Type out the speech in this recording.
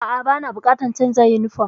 A'a, bana buƙatar canza yunifom.